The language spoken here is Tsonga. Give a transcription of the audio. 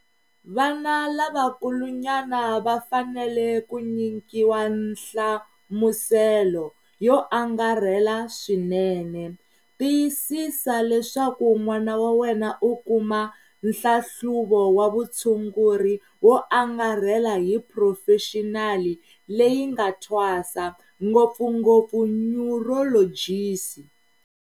Vana lavakulunyana va fanele ku nyikiwa nhlamuselo yo angarhela swinene. Tiyisisa leswaku n'wana wa wena u kuma nhlahluvo wa vutshunguri wo angarhela hi phurofexinali leyi nga thwasa, ngopfungopfu nyurolojisi.